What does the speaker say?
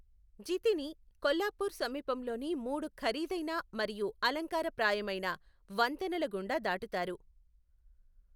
జితిని కొల్హాపూర్ సమీపంలోని మూడు ఖరీదైన మరియు అలంకారప్రాయమైన వంతెనల గుండా దాటుతారు.